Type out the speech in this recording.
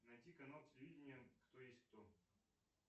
найти канал телевидения кто есть кто